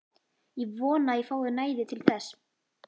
Ég vona að ég fái næði til þess.